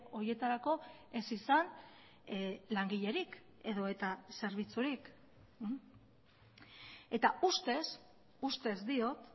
horietarako ez izan langilerik edota zerbitzurik eta ustez ustez diot